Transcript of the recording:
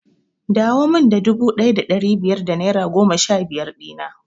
Dawo min da dubu ɗaya da ɗari biyar da naira goma sha biyar na!